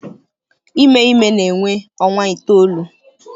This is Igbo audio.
Ime ime na-ewe ọnwa itoolu.